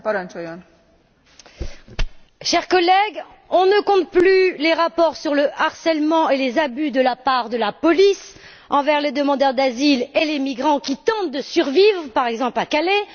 Madame la Présidente, chers collègues, on ne compte plus les rapports sur le harcèlement et les abus de la part de la police à l'égard des demandeurs d'asile et des migrants qui tentent de survivre, par exemple à Calais.